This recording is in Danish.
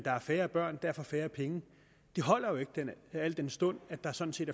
er færre børn og derfor færre penge holder jo ikke al den stund at der sådan set